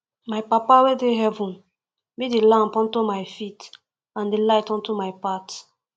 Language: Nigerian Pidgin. my papa wey dey for heaven be the lamp unto my feet and the light unto my path